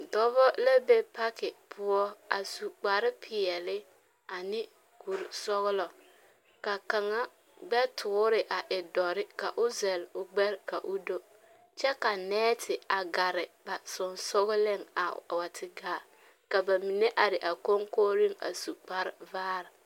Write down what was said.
Dͻbͻ la e paki poͻ a su kpare peԑle ane kurisͻgelͻ. Ka kaŋa gbԑ toore a e dõͻre ka o zԑle o gbԑre ka o do kyԑ ka nԑԑte a gare a sensogeliŋ a a wa te gaa. Ka ba mine are a koŋkooreŋ a su kpare vaare.